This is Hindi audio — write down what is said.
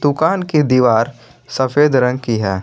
दुकान की दीवार सफेद रंग की है।